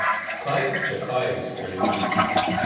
Kaj, če kaj, bi spremenili?